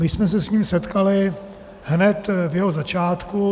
My jsme se s ním setkali hned v jeho začátku.